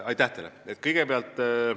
Aitäh küsimuse eest!